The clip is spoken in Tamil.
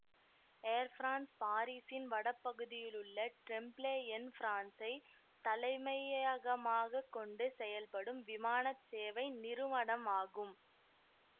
ஏர் பிரான்ஸ் பாரிசின் வடபகுதியிலுள்ள ட்ரெம்ப்லேஎன்பிரான்சைத் தலைமையகமாகக் கொண்டு செயல்படும் விமான சேவை நிறுவனம் ஆகும்